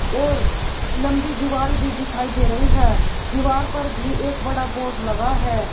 और लंबी दीवाल भी दिखाई दे रही है दीवार पर भी एक बड़ा बोर्ड लगा है।